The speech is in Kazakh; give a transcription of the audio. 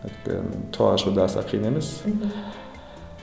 өйткені тоо ашу да аса қиын емес мхм